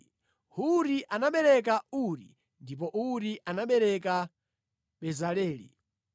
Huri anabereka Uri ndipo Uri anabereka Bezaleli.